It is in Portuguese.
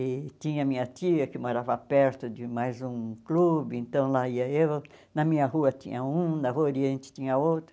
E tinha minha tia que morava perto de mais um clube, então lá ia eu, na minha rua tinha um, na rua oriente tinha outro.